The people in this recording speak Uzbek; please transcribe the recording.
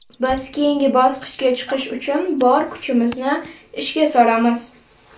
Biz keyingi bosqichga chiqish uchun bor kuchimizni ishga solamiz.